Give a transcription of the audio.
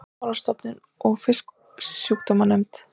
Veiðimálastofnun og Fisksjúkdómanefnd.